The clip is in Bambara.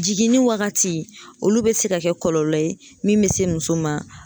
Jiginni wagati olu bɛ se ka kɛ kɔlɔlɔ ye min bɛ se muso ma.